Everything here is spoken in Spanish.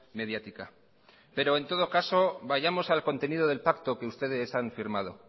mediática pero en todo caso vayamos al contenido del pacto que ustedes han firmado